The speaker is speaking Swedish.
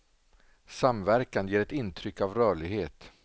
Samverkan ger ett intryck av rörlighet.